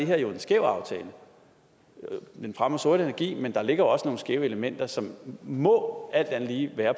her jo en skæv aftale man fremmer sort energi men der ligger også nogle skæve elementer som må alt andet lige være